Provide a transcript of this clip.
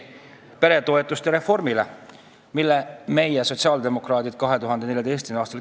Selle reformi käivitasime meie, sotsiaaldemokraadid, 2014. aastal.